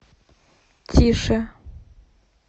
тише